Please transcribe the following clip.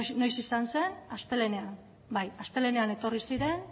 noiz izan zen astelehenean bai astelehenean etorri ziren